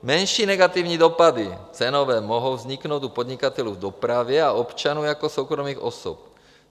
- Menší negativní dopady cenové mohou vzniknout u podnikatelů v dopravě a občanů jako soukromých osob.